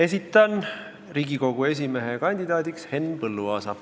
Esitan Riigikogu esimehe kandidaadiks Henn Põlluaasa.